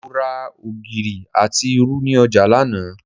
Mo ra ògìrì àti irú ni ọjà lánàá